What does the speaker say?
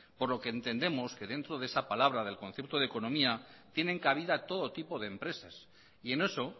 por lo que entendemos que esa palabra del concierto de economía tienen cabida todo tipo de empresas y en eso